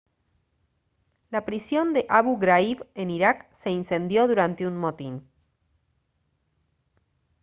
la prisión de abu ghraib en irak se incendió durante un motín